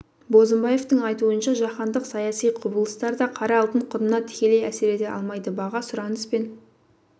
бозымбаевтың айтуынша жаһандық саяси құбылыстар да қара алтын құнына тікелей әсер ете алмайды баға сұраныс пен